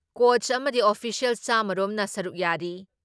Coach ꯑꯃꯗꯤ official ꯆꯥꯝꯃ ꯔꯣꯝꯅ ꯁꯔꯨꯛ ꯌꯥꯔꯤ ꯫